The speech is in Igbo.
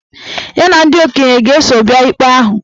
Ya na ndị okenye ga-eso bịa ikpe ahụ